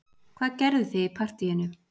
Hvað gerðuð þið í partíinu